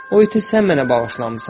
O ütü sən mənə bağışlamısan.